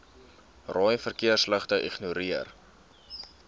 rooi verkeersligte ignoreer